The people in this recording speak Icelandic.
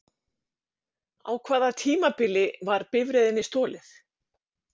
Á hvaða tímabili var bifreiðinni stolið?